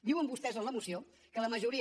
diuen vostès en la moció que la majoria